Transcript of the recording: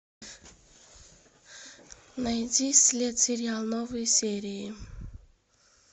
найди след сериал новые серии